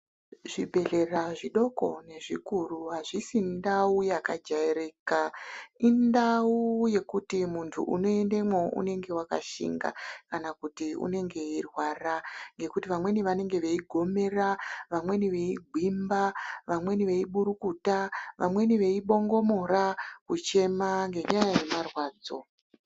Zvibhedhlera zvidoko ngezvikuru azvisi ndau yakajairika indau yekuti muntu unoendemwo unenge akashinga kana kuti unenge eirwara ngekuti vamweni vanenge vei gomera vamweni veigwimba vamweni veiburukuta vamweni veibongomora kuchema ngendaa yema rwadzo .